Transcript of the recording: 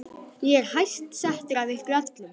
Ég er hæst settur af ykkur öllum!